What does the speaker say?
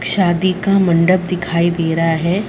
शादी का मंडप दिखाई दे रहा है।